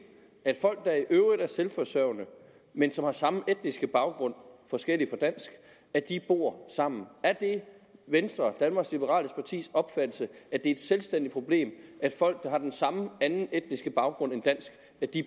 at folk der i øvrigt er selvforsørgende men som har samme etniske baggrund forskellig fra dansk bor sammen er det venstres danmarks liberale partis opfattelse at det er et selvstændigt problem at folk der har den samme anden etniske baggrund end dansk